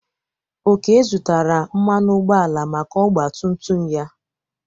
Oke zụtara mmanụ ụgbọala maka ọgba tum tum ya.